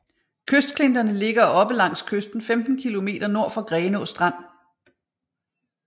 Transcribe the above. Kystklinterne ligger oppe langs kysten 15 kilometer nord for Grenaa Strand